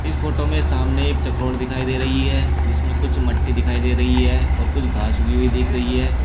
इस फोटो में सामने एक चकरोट दिखाई दे रही है जिसमें कुछ मट्टी दिखाई दे रही है और कुछ घास उगी हुई दिख रही है।